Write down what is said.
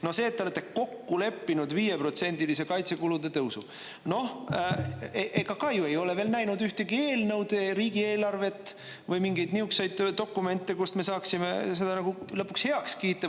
No see, et te olete kokku leppinud viieprotsendilise kaitsekulude tõusu – noh, ega ka ju ei ole veel näinud ühtegi eelnõud, riigieelarvet või mingeid niisuguseid dokumente, kust me saaksime seda lõpuks heaks kiita.